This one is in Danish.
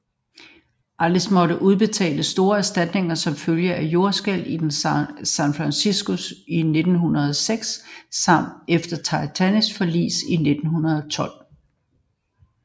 Allianz måtte udbetale store erstatninger som følge af jordskælvet i San Francisco 1906 samt efter Titanics forlis i 1912